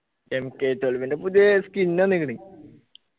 MKtwelve ൻ്റെ പുതിയെ skin വന്ന്ക്ക്ണ്